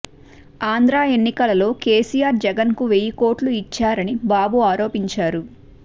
ఆంధ్ర ఎన్నికలలో కెసియార్ జగన్కు వెయ్యి కోట్లు యిచ్చారని బాబు ఆరోపించారు